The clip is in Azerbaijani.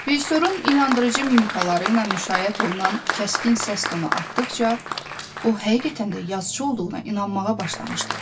Rejissorun inandırıcı mimikaları ilə müşayiət olunan kəskin səs tonu artdıqca, o həqiqətən də yazıçı olduğuna inanmağa başlamışdı.